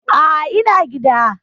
A'a, ina gida.